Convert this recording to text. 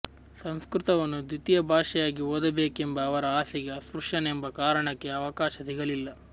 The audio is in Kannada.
ಸಂಸ್ಕೃತವನ್ನು ದ್ವಿತೀಯ ಭಾಷೆಯಾಗಿ ಓದಬೇಕೆಂಬ ಅವರ ಆಸೆಗೆ ಅಸ್ಪ್ರುಶ್ಯನೆಂಬ ಕಾರಣಕ್ಕೆ ಅವಕಾಶ ಸಿಗಲಿಲ್ಲ